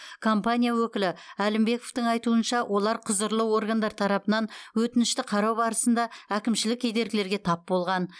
компания өкілі әлімбековтың айтуынша олар құзырлы органдар тарапынан өтінішті қарау барысында әкімшілік кедергілерге тап болған